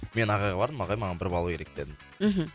мен ағайға бардым ағай маған бір балл керек дедім мхм